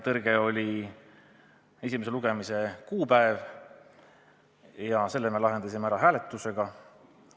Üks oli esimese lugemise kuupäev, selle probleemi me lahendamise ära hääletusega.